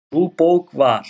Sú bók var